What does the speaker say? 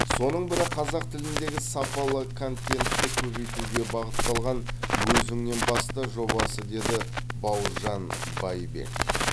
соның бірі қазақ тіліндегі сапалы контентті көбейтуге бағытталған өзіңен баста жобасы деді бауыржан байбек